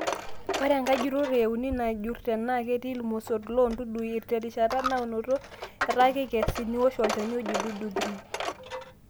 Ore enkae jurrore euni naa ijurr tenaa ketii ilmosorr loo ndudui terishata naoto etaa keikesi, niwosh olchani oji Duduthrin®️